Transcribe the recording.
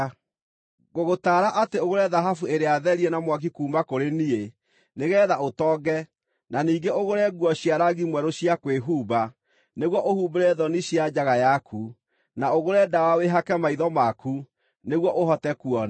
Ngũgũtaara atĩ ũgũre thahabu ĩrĩa therie na mwaki kuuma kũrĩ niĩ, nĩgeetha ũtonge, na ningĩ ũgũre nguo cia rangi mwerũ cia kwĩhumba, nĩguo ũhumbĩre thoni cia njaga yaku, na ũgũre ndawa wĩhake maitho maku, nĩguo ũhote kuona.